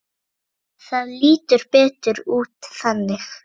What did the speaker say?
Það lítur betur út þannig.